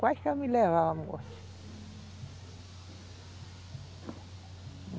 Quase que ela me levava à morte.